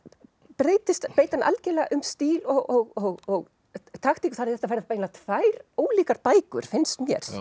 breytir hann algjörlega um stíl og taktík þannig að þetta verða eiginlega tvær ólíkar bækur finnst mér